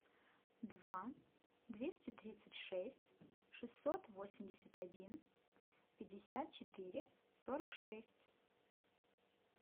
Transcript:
два двести тридцать шесть шестьсот восемьдесят один пятьдесят четыре сорок шесть